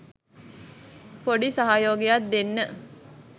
පොඩි සහයෝගයක් දෙන්න.